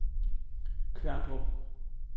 Kværndrup